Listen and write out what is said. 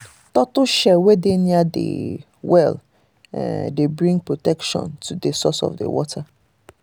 turtle shell wey dey near the well um dey bring protection to the source of water.